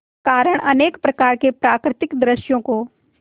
कारण अनेक प्रकार के प्राकृतिक दृश्यों को